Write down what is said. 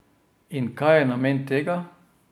In kaj je namen tega?